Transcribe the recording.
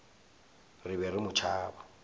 re be re mo tšhaba